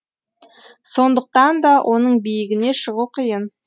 сондықтан да оның биігіне шығу қиын